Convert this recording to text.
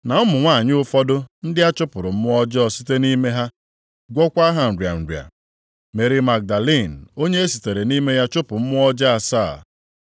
na ụmụ nwanyị ụfọdụ ndị a chụpụrụ mmụọ ọjọọ site nʼime ha, gwọkwa ha nrịa nrịa: Meri Magdalin onye e sitere nʼime ya chụpụ mmụọ ọjọọ asaa,